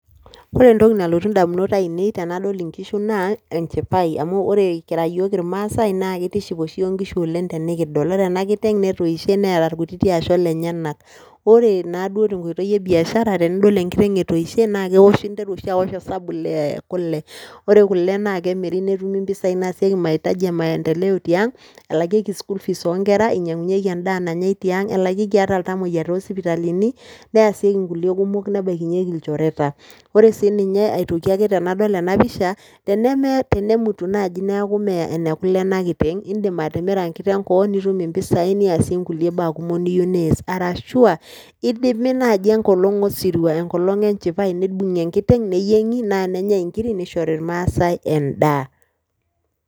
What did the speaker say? Ore entoki nalotu ndamunot ainei tenadol nkishu naa enchipai amu ore kira iyiok irmaasai naake itiship oshi iyiok nkishu tenekidol, ore ena kiteng' netoishe neeta irkutiti asho lenyenak. Ore naa duo te nkoitoi e biashara, tenidol enkiteng' etoishe naake ewosh interu oshi awosh hesabu lee kule ore kule naake emiri netumi mpisai naasieki mahitaji e maendeleo tiang', elakieki school fees oo nkera, inyang'unyieki endaa nanyai tiang', elakieki ata iltamueyia too sipitalini, neasieki nkulie kumok nebaikinyeki ilchoreta. Ore sii ninye aitoki ake tenadol ena pisha tenemee tenemutu naaji neeku mee ene kule ene kiteng', indim atimira enkiteng' koon nitum impisai niasie nkulie baa kumok niyeu nias arashu aa idimi naaji enkolong' osirua enkolong' e nchipai nibung'i enkiteng' neyieng'i naa nenyai nkirik, nishori irmaasai endaa.